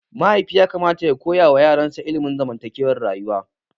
Mahaifi yakamata ya koyawa yaransa ilimin zamantakewar rayuwa.